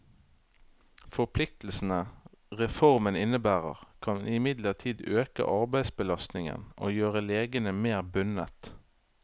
Forpliktelsene reformen innebærer, kan imidlertid øke arbeidsbelastningen og gjøre legene mer bundet.